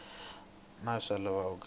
ya kahle naswona swa olova